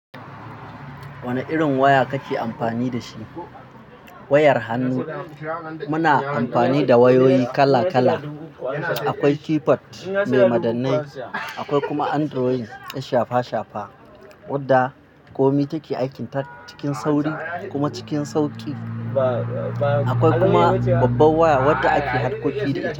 Wane irin waya kake amfani da shi? Wayar Hannu, muna amfani da wayoyi kala kala. Akwai keypad mai madannai, akwai kuma android ɗin shafa shafa wadda kome take aikin ta cikin sauri kuma cikin sauƙi. Akwai kuma babban waya wadda ake harkoki da ita.